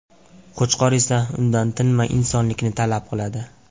Qo‘chqor esa undan tinmay insonlikni talab qiladi.